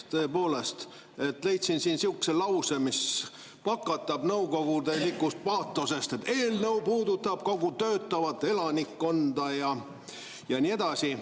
Tõepoolest, leidsin sihukese lause, mis pakatab nõukogulikust paatosest, et eelnõu puudutab kogu töötavat elanikkonda ja nii edasi.